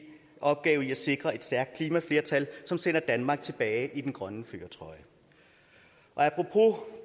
opgave i at sikre et stærkt klimaflertal som sender danmark tilbage i den grønne førertrøje apropos